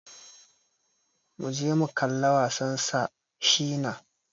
Muje mu kalla wasan Sir Shina.